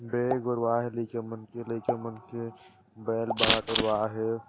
बेग